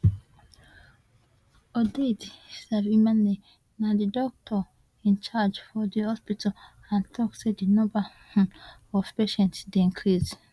odette nsavyimana na di doctor in charge for di hospital and tok say di number um of patients dey increase